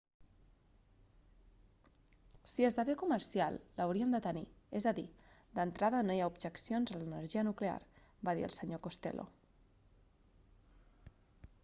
si esdevé comercial l'hauríem de tenir és a dir d'entrada no hi ha objeccions a l'energia nuclear va dir el sr costello